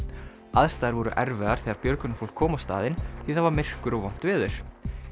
aðstæður voru erfiðar þegar björgunarfólk kom á staðinn því það var myrkur og vont veður